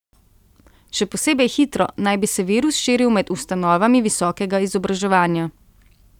Še posebej hitro naj bi se virus širil med ustanovami visokega izobraževanja.